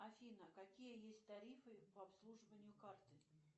афина какие есть тарифы по обслуживанию карты